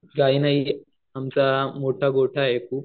काय नाही आमचा मोठा गोठा आहे इथे